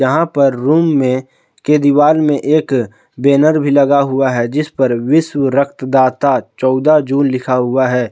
यहां पर रूम में के दीवार में एक बैनर भी लगा हुआ है जिस पर विश्व रक्त दाता चौदह जून लिखा हुआ है।